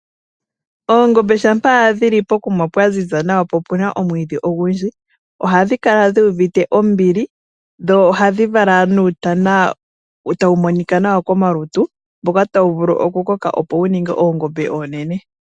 Oongombe dhampa dhili pokuma pwa ziza nawa po opuna omwiidhi ogundji . Ohadhi kala dhuuvite ombili dho ohadhi vala uutana tawu monika nawa komalutu . Mboka tawu vulu oku koka opo wuninge oongombe oonene.